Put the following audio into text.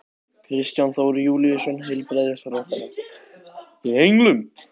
Kristján Þór Júlíusson, heilbrigðisráðherra: Í henglum?